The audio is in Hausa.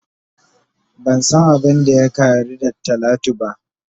Ban san abin da ya Kari da talatu ba.